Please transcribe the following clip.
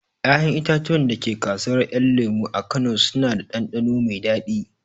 Ƴaƴan itatuwan da ke kasuwar ƴan lemo a kano suna da ɗanɗano mai daɗi